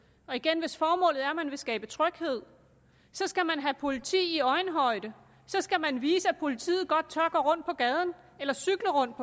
og igen hvis formålet er at man vil skabe tryghed skal man have politi i øjenhøjde så skal man vise at politiet godt tør gå rundt i gaderne eller cykle rundt